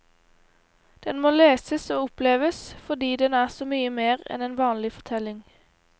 Den må leses og oppleves fordi den er så mye mer enn en vanlig fortelling.